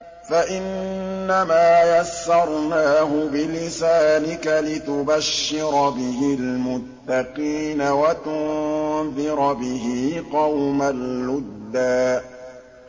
فَإِنَّمَا يَسَّرْنَاهُ بِلِسَانِكَ لِتُبَشِّرَ بِهِ الْمُتَّقِينَ وَتُنذِرَ بِهِ قَوْمًا لُّدًّا